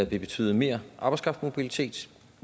vil betyde mere arbejdskraftsmobilitet